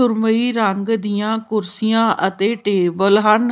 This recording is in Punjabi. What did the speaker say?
ਸੁਰਮਈ ਰੰਗ ਦੀਆਂ ਕੁਰਸੀਆਂ ਅਤੇ ਟੇਬਲ ਹਨ।